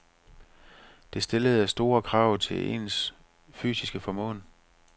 Det stillede store krav til ens fysiske formåen.